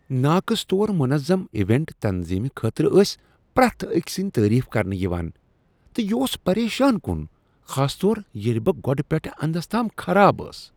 ناقص طور منظم ایونٹ تنظیمہٕ خٲطرٕ ٲس پریتھ اکۍ سندۍ تعریف کرنہٕ یوان تہٕ یہ اوس پریشان کن، خاص طور ییٚلہ یہ گۄڈ پیٹھہ انٛدس تام خراب ٲس۔